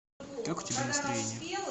как у тебя настроение